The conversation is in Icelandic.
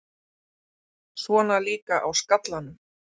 Svona líka á skallanum!